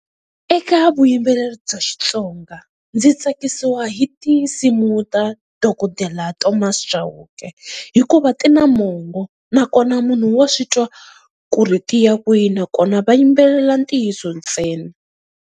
Eka vuyimbeleri bya Xitsonga ndzi tsakisiwa hi tinsimu ta dokodela Thomas Chauke, hikuva ti na mongo nakona munhu wa swi twa ku ri ti ya kwihi nakona va yimbelela ntiyiso ntsena.